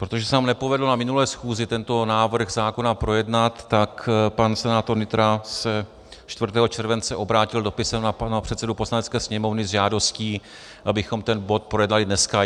Protože se nám nepovedlo na minulé schůzi tento návrh zákona projednat, tak pan senátor Nytra se 4. července obrátil dopisem na pana předsedu Poslanecké sněmovny s žádostí, abychom ten bod projednali dneska.